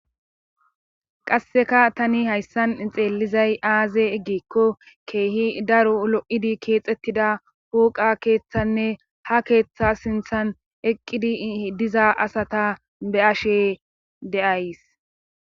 Qasseka tani hayssan xeellizay aaze eggikko keehi daro lo7idi keexettida huuqa keeththanne ha keeththa sinthan eqqidi diza asata be ashe deays.